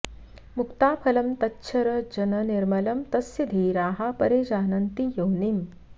मुक्ताफलं तच्छर जन निर्मलं तस्य धीराः परिजानन्ति योनिम्